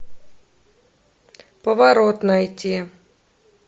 поворот найти